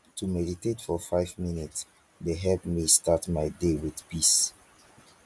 to meditate for five minutes dey help me start my day with peace.